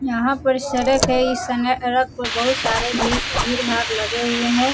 यहाँ पर सड़क है। इस समय अड़क पर बहुत सारे भी भीर-भार लगे हुए हैं।